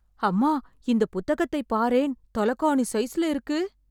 அம்மா... இந்த புத்தகத்தை பாரேன்... தலகாணி சைஸ்ல இருக்கு.